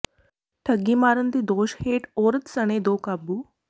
ਠੱਗੀ ਮਾਰਨ ਦੇ ਦੋਸ਼ ਹੇਠ ਔਰਤ ਸਣੇ ਦੋ ਕਾਬੂ